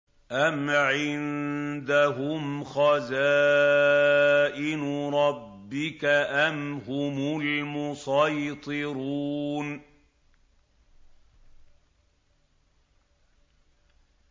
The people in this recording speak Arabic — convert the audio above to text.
أَمْ عِندَهُمْ خَزَائِنُ رَبِّكَ أَمْ هُمُ الْمُصَيْطِرُونَ